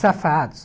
Safados.